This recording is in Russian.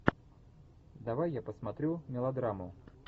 давай я посмотрю мелодраму